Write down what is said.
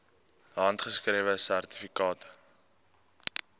handgeskrewe sertifikate